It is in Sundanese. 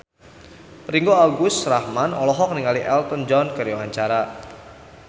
Ringgo Agus Rahman olohok ningali Elton John keur diwawancara